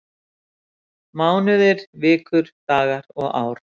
Mánuðir, vikur, dagar og ár.